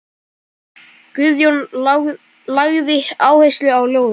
Guðjón lagði áherslu á ljóðin.